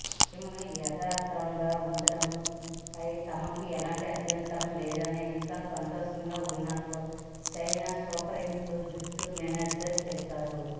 టీంను యథాతథంగా ఉంచడంపై తమకు ఎలాంటి అభ్యంతరం లేదని ఇంకా సంతోషంగా ఉన్నట్లు చైన్నై సూపర్కింగ్స్ జట్టు మేనేజర్ తెలిపారు